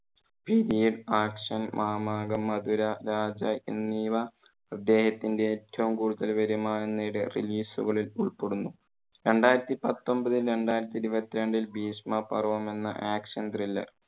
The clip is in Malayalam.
period-action മാമാങ്കം, മധുര രാജ എന്നിവ ഇദ്ദേഹത്തിന്റെ ഏറ്റവും കൂടുതൽ വരുമാനം നേടിയ release കളിൽ ഉൾപ്പെടുന്നു. രണ്ടായിരത്തി പത്തൊമ്പതു, രണ്ടായിരത്തി ഇരുപത്തി രണ്ടിൽ ഭീഷ്മ പർവ്വം എന്ന action-thriller